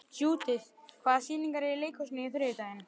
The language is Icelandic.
Judith, hvaða sýningar eru í leikhúsinu á þriðjudaginn?